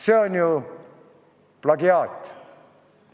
See on ju plagiaat.